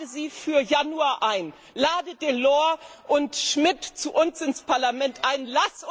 Lade sie für Januar ein, lade Delors und Schmidt zu uns ins Parlament ein!